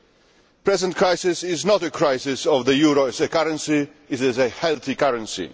The present crisis is not a crisis of the euro as a currency it is a healthy currency.